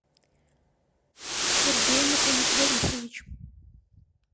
сергей мухаметгарифович